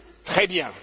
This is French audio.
Très bien!